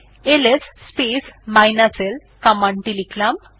LS l command টি লিখলাম